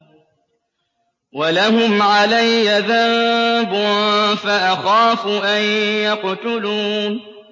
وَلَهُمْ عَلَيَّ ذَنبٌ فَأَخَافُ أَن يَقْتُلُونِ